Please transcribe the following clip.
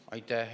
Aitäh!